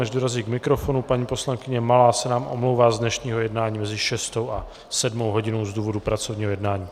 Než dorazí k mikrofonu, paní poslankyně Malá se nám omlouvá z dnešního jednání mezi 18. a 19. hodinou z důvodu pracovního jednání.